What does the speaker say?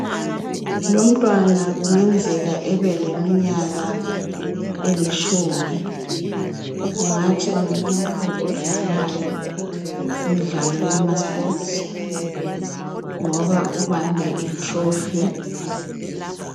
Lomntwana kungenzeka ebeleminyaka elitshumi kungathi ngumuntu odlalayo imidlalo yama sports ngoba ubambe trophy.